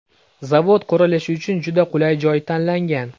Zavod qurilishi uchun juda qulay joy tanlangan.